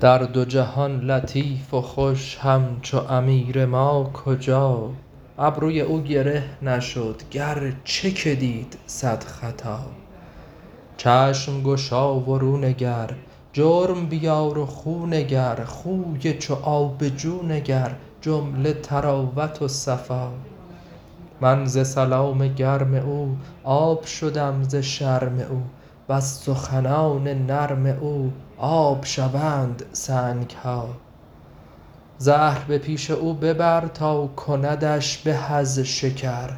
در دو جهان لطیف و خوش همچو امیر ما کجا ابروی او گره نشد گرچه که دید صد خطا چشم گشا و رو نگر جرم بیار و خو نگر خوی چو آب جو نگر جمله طراوت و صفا من ز سلام گرم او آب شدم ز شرم او وز سخنان نرم او آب شوند سنگ ها زهر به پیش او ببر تا کندش به از شکر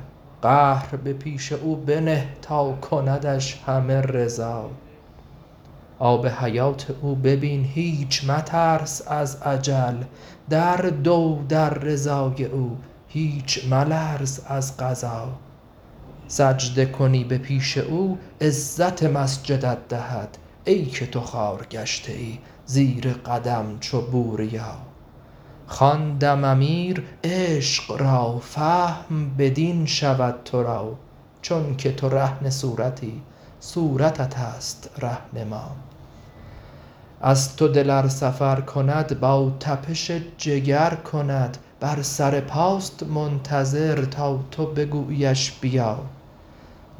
قهر به پیش او بنه تا کندش همه رضا آب حیات او ببین هیچ مترس از اجل در دو در رضای او هیچ ملرز از قضا سجده کنی به پیش او عزت مسجدت دهد ای که تو خوار گشته ای زیر قدم چو بوریا خواندم امیر عشق را فهم بدین شود تو را چونک تو رهن صورتی صورت توست ره نما از تو دل ار سفر کند با تپش جگر کند بر سر پاست منتظر تا تو بگوییش بیا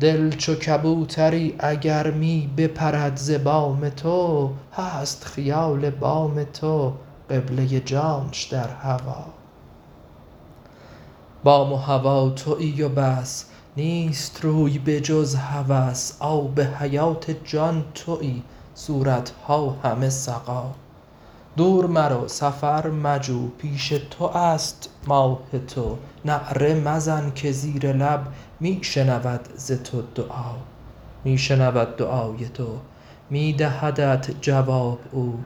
دل چو کبوتری اگر می بپرد ز بام تو هست خیال بام تو قبله جانش در هوا بام و هوا توی و بس نیست روی بجز هوس آب حیات جان توی صورت ها همه سقا دور مرو سفر مجو پیش تو است ماه تو نعره مزن که زیر لب می شنود ز تو دعا می شنود دعای تو می دهدت جواب او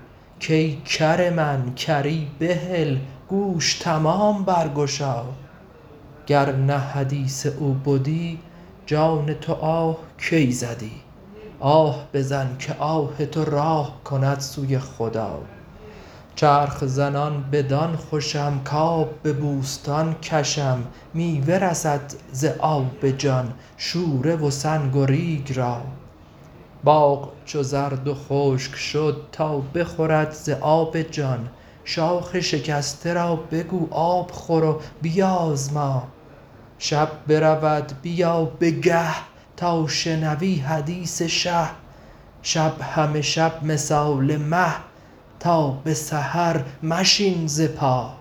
کای کر من کری بهل گوش تمام برگشا گر نه حدیث او بدی جان تو آه کی زدی آه بزن که آه تو راه کند سوی خدا چرخ زنان بدان خوشم کآب به بوستان کشم میوه رسد ز آب جان شوره و سنگ و ریگ را باغ چو زرد و خشک شد تا بخورد ز آب جان شاخ شکسته را بگو آب خور و بیازما شب برود بیا به گه تا شنوی حدیث شه شب همه شب مثال مه تا به سحر مشین ز پا